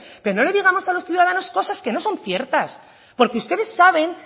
pero no le digamos a los ciudadanos cosas que no son ciertas porque ustedes saben